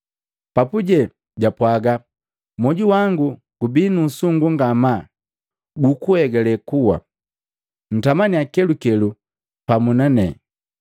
Papuje japwaaga, “Mwoju wangu gubi nuusungu ngamaa gukuegale kuwa. Ntamaniya kelukelu pamu nanepane.”